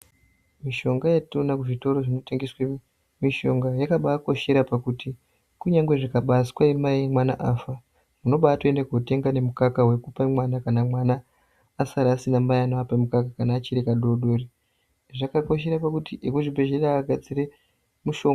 Mishonga yatino ona ku zvitoro zvino tengeswe mishonga yakabai koshera pakuti ku nyangwe zvika baiswe mai mwana afa uno baito ende kotenga ne mukaka wekupe mwana kana mwana asara asina mai anovape mukaka kana achiri ka dodori zvaka koshere pakuti eku zvibhedhlera agadzire mushonga.